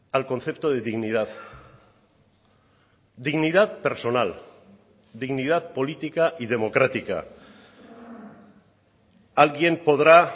al concepto de dignidad dignidad personal dignidad política y democrática alguien podrá